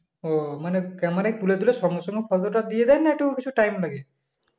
ও মানে camera তুলে তুলে সঙ্গে সঙ্গে দিয়ে দেয় না একটু time লাগে?